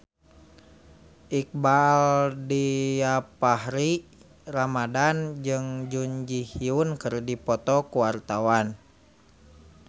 Iqbaal Dhiafakhri Ramadhan jeung Jun Ji Hyun keur dipoto ku wartawan